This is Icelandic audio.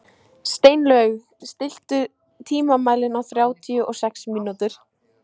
Steinlaug, stilltu tímamælinn á þrjátíu og sex mínútur.